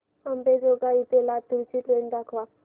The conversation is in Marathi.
अंबेजोगाई ते लातूर ची ट्रेन दाखवा